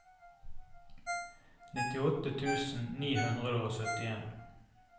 nittiåtte tusen ni hundre og syttien